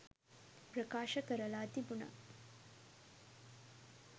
ප්‍රකාශ කරලා තිබුණා